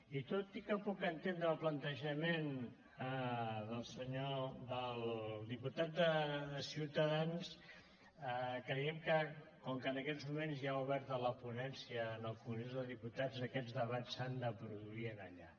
i tot i que puc entendre el plantejament del diputat de ciutadans creiem que com que en aquests moments hi ha oberta la ponència en el congrés dels diputats aquests debats s’han de produir allà